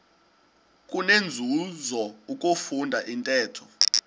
kunenzuzo ukufunda intetho